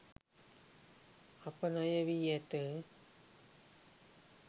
අප ණයවී ඇත.